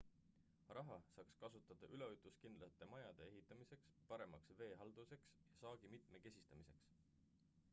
raha saaks kasutada üleujutuskindlate majade ehitamiseks paremaks veehalduseks ja saagi mitmekesistamiseks